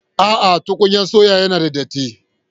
No, tukumya sayon yana da datti.